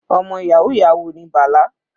Ọmọ yahoo yahoo ni Bala.